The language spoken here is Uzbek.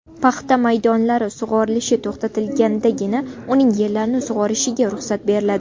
Paxta maydonlari sug‘orilishi to‘xtatilgandagina uning yerlarini sug‘orishiga ruxsat beriladi.